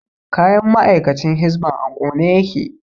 Kayan ma'aikacin hisban a ƙone yake hisba official is burnt